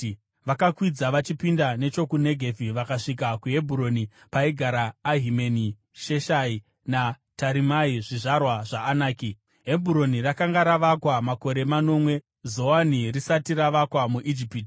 Vakakwidza vachipinda nechokuNegevhi vakasvika kuHebhuroni paigara Ahimeni, Sheshai naTarimai, zvizvarwa zvaAnaki. (Hebhuroni rakanga ravakwa makore manomwe Zoani risati ravakwa muIjipiti).